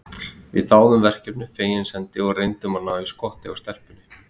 Við þáðum verkefnið fegins hendi og reyndum að ná í skottið á stelpunni.